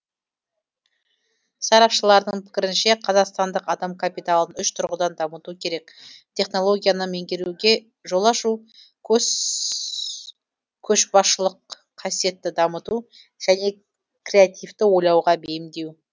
сарапшылардың пікірінше қазақстандық адам капиталын үш тұрғыдан дамыту керек технологияны меңгеруге жол ашу көшбасшылық қасиетті дамыту және креативті ойлауға бейімдеу